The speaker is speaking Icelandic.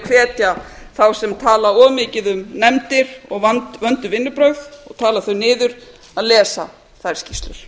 hvetja þá sem tala of mikið um nefndir og vandleg vinnubrögð að tala þau niður að lesa þær skýrslur